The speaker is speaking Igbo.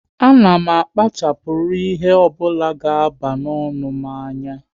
A na m akpachapuru ihe ọ bụla ga aba n'ọnụ m anya